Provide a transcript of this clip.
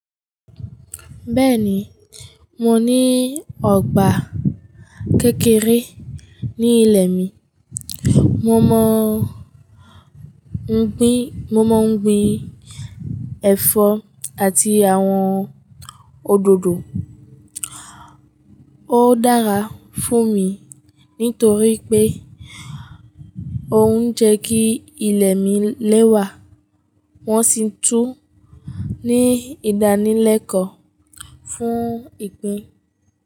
Bẹ́ẹ̀ni, mò ní ọgbà kékeré ní ilẹ̀ mi. Mo mọ̀ n gbìn, mo mọ̀ n gbìn ẹ̀fọ̀ àti awọn òdòdò. O dára fún mi nítorí pé ọ̀ n jẹ́ kí ilẹ̀ mi lẹ́wà wọ́n sì tún ní ìdánilẹ́kọ̀ọ́ fún ìgbìn.